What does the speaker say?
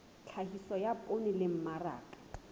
tlhahiso ya poone le mmaraka